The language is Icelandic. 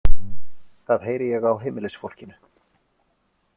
Það heyri ég á heimilisfólkinu.